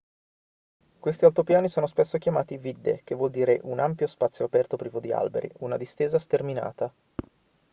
questi altopiani sono spesso chiamati vidde che vuol dire un ampio spazio aperto privo di alberi una distesa sterminata